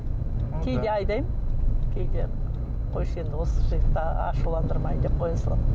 кейде айдаймын кейде қойшы енді осы жігітті ашуландырмайын деп қоя саламын